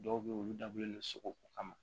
Dɔw bɛ yen olu dabɔlen don sogo ko kama